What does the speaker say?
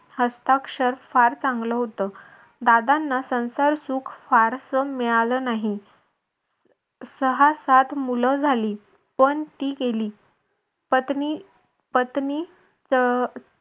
हस्ताक्षर फार चांगलं होत. दादांना संसार सुख फारस मिळालं नाही सहा सात मूल झाली. पण ती गेली. पत्नी पत्नी अह